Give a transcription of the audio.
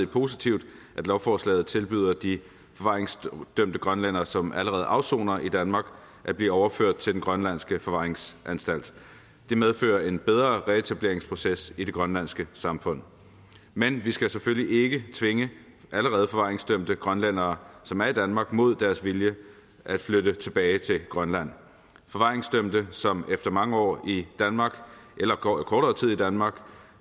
positivt at lovforslaget samtidig tilbyder de forvaringsdømte grønlændere som allerede afsoner i danmark at blive overført til den grønlandske forvaringsanstalt det medfører en bedre reetableringsproces i det grønlandske samfund men vi skal selvfølgelig ikke tvinge allerede forvaringsdømte grønlændere som er i danmark til mod deres vilje at flytte tilbage til grønland forvaringsdømte som efter mange år i danmark eller kortere tid i danmark